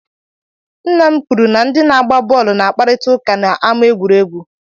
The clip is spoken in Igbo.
nna m kwuru na ndị na-agba bọọlụ na-akparịtakwu ụka na ámá egwuru egwu